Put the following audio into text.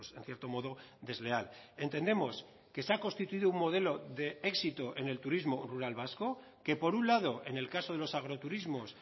en cierto modo desleal entendemos que se ha constituido un modelo de éxito en el turismo rural vasco que por un lado en el caso de los agroturismos